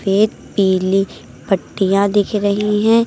सफेद पीली पट्टियां दिख रही हैं।